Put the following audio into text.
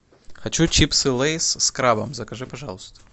хочу чипсы лейс с крабом закажи пожалуйста